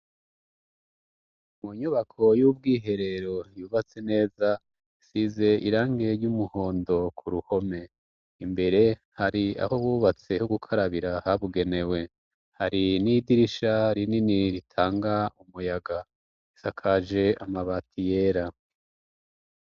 mu nyubako y'ubwiherero yubatse neza isize irangi ry'umuhondo ku ruhome imbere hari aho bubatse ho gukarabira habugenewe hari n'idirisha rinini ritanga umuyaga isakaje amabati yera